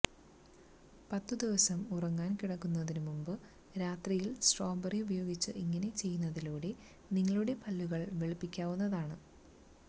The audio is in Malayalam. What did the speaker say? പത്ത് ദിവസം ഉറങ്ങാന് കിടക്കുന്നതിനുമുമ്പ് രാത്രിയില് സ്ട്രോബറി ഉപയോഗിച്ച് ഇങ്ങനെ ചെയ്യുന്നതിലൂടെ നിങ്ങളുടെ പല്ലുകള് വെളുപ്പിക്കാവുന്നതാണ്